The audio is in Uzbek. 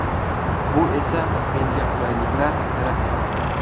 Bu esa menga qulayliklar yaratgan.